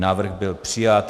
Návrh byl přijat.